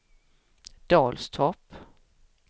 Dalstorp